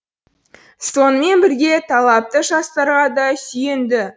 сонымен бірге талапты жастарға да сүйенді